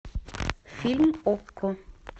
фильм окко